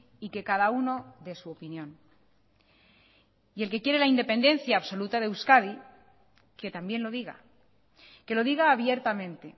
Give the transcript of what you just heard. y que cada uno dé su opinión y el que quiere la independencia absoluta de euskadi que también lo diga que lo diga abiertamente